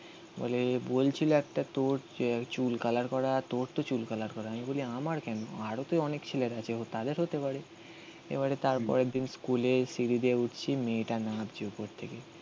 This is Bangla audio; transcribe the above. বলে বলছিল একটা তোর চুল কালার করা. তোর তো চুল কালার করা. আমি বলি আমার কেন আরও অনেক ছেলের আছে. ও তাদের হতে পারে. এবারে তার পরের দিন স্কুলে সিঁড়ি দিয়ে উঠছি, মেয়েটা নাচছে উপর থেকে.